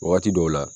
Wagati dɔw la